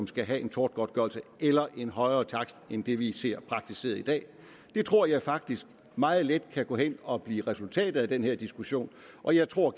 skal være en tortgodtgørelse eller en højere takst end det vi ser praktiseret i dag det tror jeg faktisk meget let kan gå hen og blive resultatet af den her diskussion og jeg tror og